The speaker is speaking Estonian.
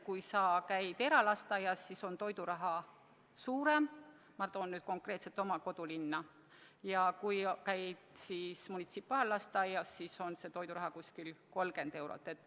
Kui sa käid eralasteaias, siis on toiduraha suurem – ma toon konkreetselt näiteks jälle oma kodulinna –, kui käid munitsipaallasteaias, siis on toiduraha umbes 30 eurot.